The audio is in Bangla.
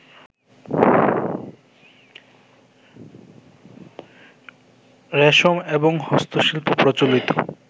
রেশম, এবং হস্তশিল্প প্রচলিত